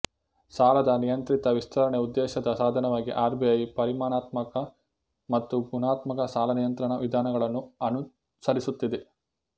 ಸಾಲದ ನಿಯಂತ್ರಿತ ವಿಸ್ತರಣೆ ಉದ್ದೇಶದ ಸಾಧನವಾಗಿ ಆರ್ ಬಿ ಐ ಪರಿಮಾಣಾತ್ಮಕ ಮತ್ತು ಗುಣಾತ್ಮಕ ಸಾಲ ನಿಯಂತ್ರಣ ವಿಧಾನಗಳನ್ನು ಅನುಸರಿಸುತ್ತಿದೆ